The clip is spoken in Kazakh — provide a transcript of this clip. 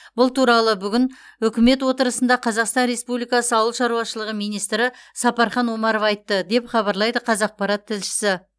бұл туралы бүгін үкімет отырысында қазақстан республикасы ауыл шаруашылығы министрі сапархан омаров айтты деп хабарлайды қазақпарат тілшісі